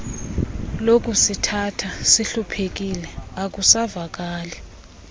lokusithatha sihluphekile akusavakali